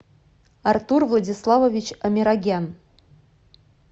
артур владиславович амирогян